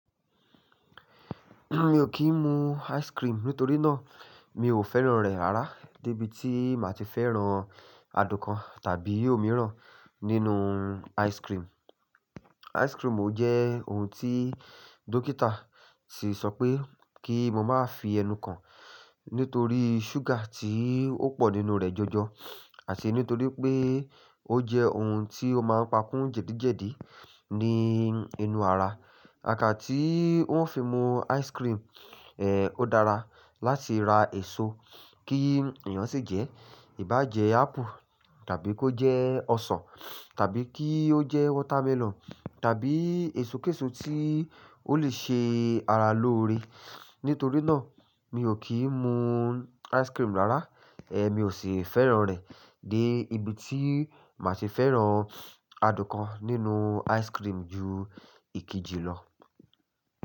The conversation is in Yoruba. Mi ò kí ń mu ice cream nítorí náà, mi ò fẹ́ràn rẹ̀ rárá dé ibi tí màá ti fẹ́ràn adùn kan tàbí omi rán nínú ice cream. Ice cream ò jẹ́ ohun tí dókítà ti sọ pé kí mo máa fi ẹnu kan nítorí ṣúgà tí ó pọ̀ nínú rẹ̀ jọjọ, àti nítorí pé ó jẹ́ ohun tí ó máa ń pakúǹ jẹ̀dí jẹ̀dí ní inú ara. Kaká tí wọn fi mu ice cream, ẹ́ ò dára láti ra èso kí èèyàn sì jẹ́, ì bá jẹ́ ápù tàbí kó jẹ́ ọsàn tàbí kí ó jẹ́ watermelon tàbí èso késò tí ó le ṣe ara lóore. Nítorí náà, mi ò kí ń mu ice cream rárá, ẹ́ mi ò sì fẹ́ràn rẹ̀ dé ibi tí màá ti fẹ́ràn adùn kan nínú ice cream ju ìkejì lọ.